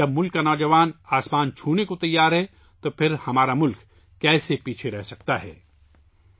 جب ملک کا نوجوان آسمان کو چھونے کے لئے تیار ہے تو پھر ہمارا ملک کیسے پیچھے رہ سکتا ہے؟